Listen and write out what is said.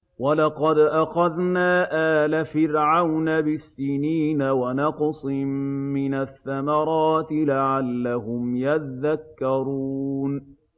وَلَقَدْ أَخَذْنَا آلَ فِرْعَوْنَ بِالسِّنِينَ وَنَقْصٍ مِّنَ الثَّمَرَاتِ لَعَلَّهُمْ يَذَّكَّرُونَ